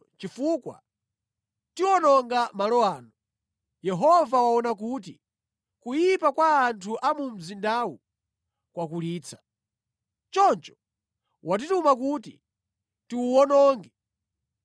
chifukwa tiwononga malo ano. Yehova waona kuti kuyipa kwa anthu a mu mzindawu kwakulitsa. Choncho watituma kuti tiwuwononge.”